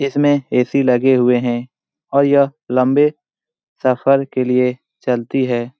इसमें ए_सी लगी हुई है और यह लंबे सफर के लिए चलती है।